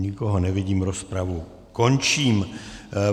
Nikoho nevidím, rozpravu končím.